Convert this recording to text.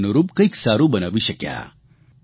તે તેને અનુરૂપ કંઇક સારૂં બનાવી શક્યા